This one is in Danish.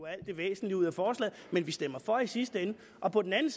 alt det væsentlige ud af forslaget men de stemmer for i sidste ende og på den anden